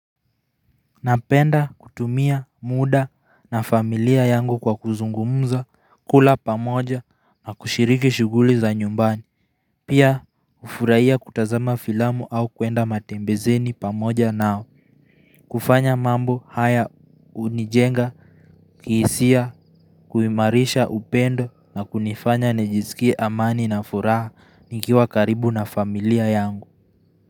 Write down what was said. Napenda kutumia mda na familia yangu kwa kuzungumuza kula pamoja na kushiriki shuguli za nyumbani Pia hufurahia kutazama filamu au kwenda matembezeni pamoja nao kufanya mambo haya unijenga kihisia kuimarisha upendo na kunifanya nijiskie amani na furaha nikiwa karibu na familia yangu.